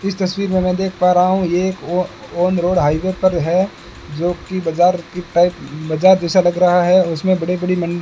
इस तस्वीर में मैं देख पा रहा हूं ये एक ओ ऑन रोड हाईवे पर है जो की बाजार की टाइप बाजार जैसा लग रहा है उसमें बड़ी बड़ी मन --